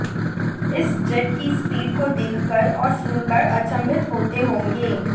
इस जेट की स्पीड को देखकर और सुनकर अचंभित होते होंगे